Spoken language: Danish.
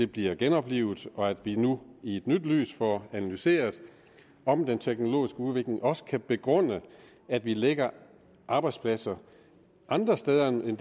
bliver genoplivet og at vi nu i et nyt lys får analyseret om den teknologiske udvikling også kan begrunde at vi lægger arbejdspladser andre steder end